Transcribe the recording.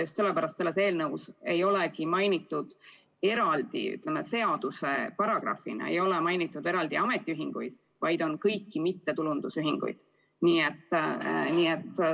Just sellepärast selles eelnõus ei olegi seaduse paragrahvina märgitud eraldi ametiühinguid, vaid kõiki mittetulundusühinguid.